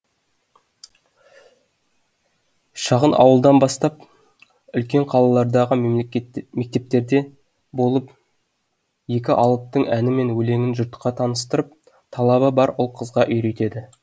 шағын ауылдан бастап үлкен қалалардағы мектептерде болып екі алыптың әні мен өлеңін жұртқа таныстырып талабы бар ұл қызға үйретеді